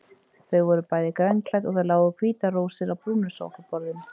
Þau voru bæði grænklædd og það lágu hvítar rósir á brúnu sófaborðinu.